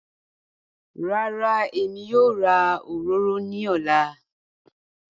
Rárá, Èmi yóò rà òròrò ní òlá.